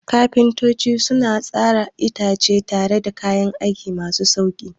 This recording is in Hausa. Kafintoci suna tsara itace tare da kayan aiki masu sauƙi.